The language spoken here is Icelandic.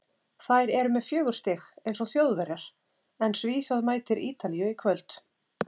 Þær eru með fjögur stig, eins og Þjóðverjar, en Svíþjóð mætir Ítalíu í kvöld.